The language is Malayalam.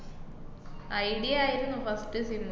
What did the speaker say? ഐഡിയ ആയിരുന്നു first sim അ്.